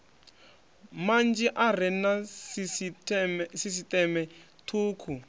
manzhi are na sisiṱeme thukhu